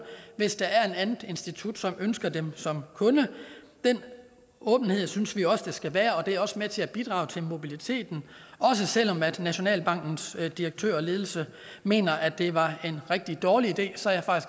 hvis der er et andet institut som ønsker dem som kunde den åbenhed synes vi også der skal være og det er også med til at bidrage til mobiliteten også selv om nationalbankens direktør og ledelse mener at det var en rigtig dårlig idé så er